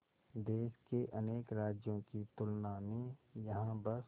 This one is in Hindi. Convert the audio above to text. देश के अनेक राज्यों की तुलना में यहाँ बस